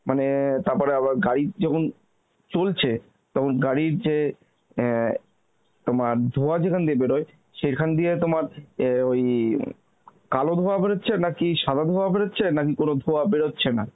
মানে তারপরে আবার গাড়ির যখন চলছে, তখন গাড়ির যে এন তোমার ধোয়া যেখান দিয়ে বেরোয়ে সেইখান দিয়ে তোমার এওই গোয়া বেরোচ্ছে নাকি সাদা ধোঁয়া বেরোচ্ছে নাকি কোন ধোঁয়া বেরোচ্ছে না